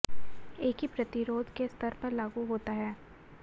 एक ही प्रतिरोध के स्तर पर लागू होता है